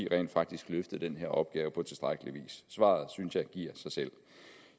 rent faktisk løftede den her opgave på tilstrækkelig vis svaret synes jeg giver sig selv